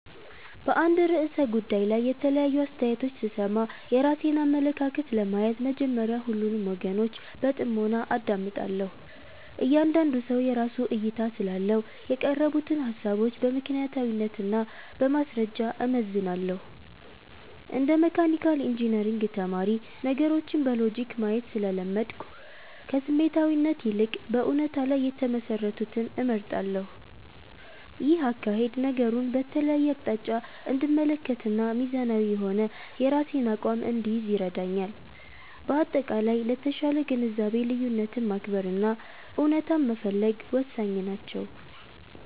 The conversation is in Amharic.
በአንድ ርዕሰ ጉዳይ ላይ የተለያዩ አስተያየቶች ስሰማ፣ የራሴን አመለካከት ለመያዝ መጀመሪያ ሁሉንም ወገኖች በጥሞና አዳምጣለሁ። እያንዳንዱ ሰው የራሱ እይታ ስላለው፣ የቀረቡትን ሃሳቦች በምክንያታዊነት እና በማስረጃ እመዝናለሁ። እንደ መካኒካል ኢንጂነሪንግ ተማሪ፣ ነገሮችን በሎጂክ ማየት ስለለመድኩ፣ ከስሜታዊነት ይልቅ በእውነታ ላይ የተመሰረቱትን እመርጣለሁ። ይህ አካሄድ ነገሩን በተለያየ አቅጣጫ እንድመለከትና ሚዛናዊ የሆነ የራሴን አቋም እንድይዝ ይረዳኛል። በአጠቃላይ፣ ለተሻለ ግንዛቤ ልዩነትን ማክበር እና እውነታን መፈለግ ወሳኝ ናቸው።